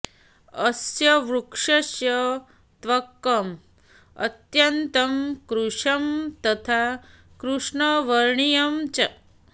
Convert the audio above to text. अस्य वृक्षस्य त्वक् अत्यन्तं कृशं तथा कृष्णवर्णीयं च